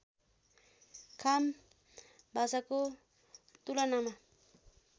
खाम भाषाको तुलनामा